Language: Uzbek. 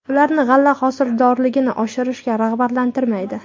Ularni g‘alla hosildorligini oshirishga rag‘batlantirmaydi.